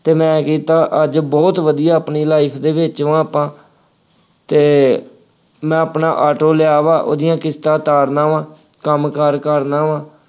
ਅਤੇ ਮੈਂ ਕੀਤਾ, ਅੱਜ ਬਹੁਤ ਵਧੀਆ ਆਪਣੀ life ਦੇ ਵਿੱਚ ਵਾਂ ਆਪਾਂ ਅਤੇ ਮੈ ਆਪਣਾ ਆਟੋ ਲਿਆ ਵਾ, ਉਹਦੀਆਂ ਕਿਸ਼ਤਾਂ ਉਤਾਰਦਾ ਵਾਂ, ਕੰਮ ਕਾਰ ਕਰਦਾ ਵਾਂ।